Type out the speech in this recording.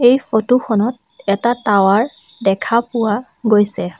এই ছবিখনত এটা টাৱাৰ দেখা পোৱা গৈছে।